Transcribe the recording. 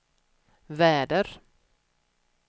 väder